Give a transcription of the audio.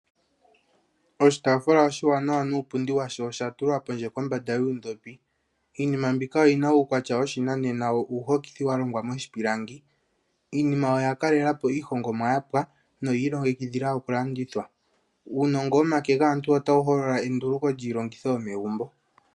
Oshitaafula oshiwanawa nuupundi washo osha tulwa pondje kombanda yuundhopi. Iinima mbika oyina uukwatya woshinanena wo uuhokithi wa longwa moshipilangi. Iinima oya kalela po iihongomwa yapwa noyi ilongekidhila okulandithwa. Uunongo womake gaantu otawu holola enduluko lyiilongitho yomegumbo.